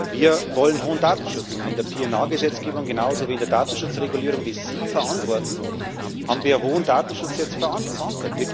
Wir wollen hohen Datenschutz, und in der PNR Gesetzgebung genauso wie in der Datenschutzregulierung, die Sie verantworten haben wir jetzt hohen Datenschutz verankert.